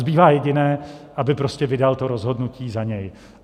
Zbývá jediné: aby prostě vydal to rozhodnutí za něj.